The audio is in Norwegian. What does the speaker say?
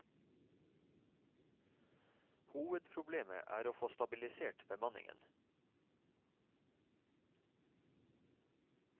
Hovedproblemet er å få stabilisert bemanningen.